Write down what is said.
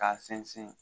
K'a sɛnsin